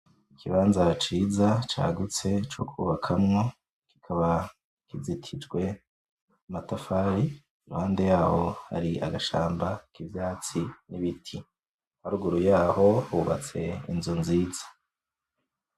Ikibaza ciza cagutse co kubakamwo, kikaba kizitijwe amatafari iruhande yaho hari agashamba k'ivyatsi n'ibiti, harugura yaho hubatse inzu nziza.